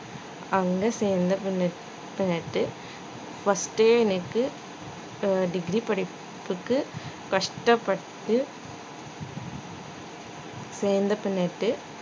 அங்கே சேர்ந்த பின்ன~ ஒரு degree படிக்கறதுக்கு கஷ்டப்பட்டு சேர்ந்த பின்னட்டு